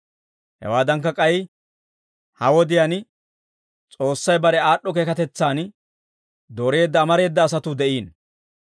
Hawaadankka k'ay ha wodiyaan, S'oossay bare aad'd'o keekatetsaan dooreedda amareeda asatuu de'iino.